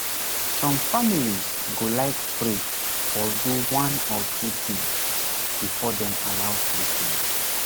some families go like pray or do one or two things before dem allow treatment